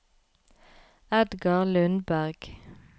Edgar Lundberg